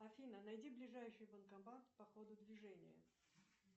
афина найди ближайший банкомат по ходу движения